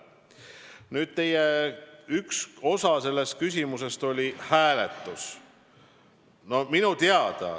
Nüüd, te puudutasite oma küsimuses ka hääletust.